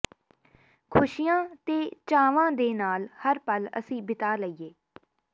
ਖੁਸ਼ੀਆਂ ਤੇ ਚਾਵਾਂ ਦੇ ਨਾਲ ਹਰ ਪੱਲ ਅਸੀਂ ਬਿਤਾ ਲਈਏ